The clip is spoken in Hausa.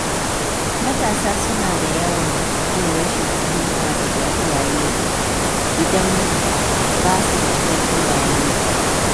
Matasa suna yawan jin rashin fahimta daga iyaye idan ba su da cikakken bayani.